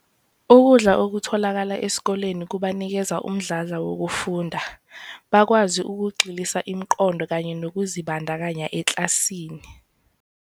"Ukudla okutholakala esikoleni kubanikeza umdlandla wokufunda, bakwazi ukugxilisa umqondo kanye nokuzibandakanya eklasini."